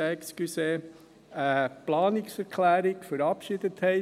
2019 eine Planungserklärung verabschiedet haben.